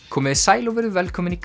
komiði sæl og verið velkomin í